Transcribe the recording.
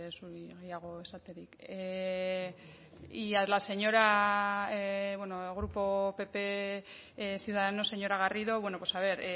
zuri gehiago esaterik y a la señora bueno el grupo pp ciudadanos señora garrido bueno pues a ver